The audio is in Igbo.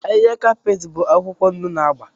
Ahịhịa kapeeti bụ akwụkwọ ndụ na agba.